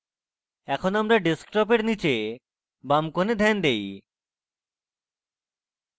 এখন আমরা ডেস্কটপের নীচে বাম corner ধ্যান দেই